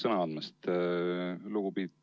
Aitäh sõna andmast!